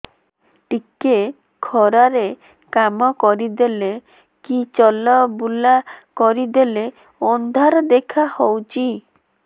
ଟିକେ ଖରା ରେ କାମ କରିଦେଲେ କି ଚଲବୁଲା କରିଦେଲେ ଅନ୍ଧାର ଦେଖା ହଉଚି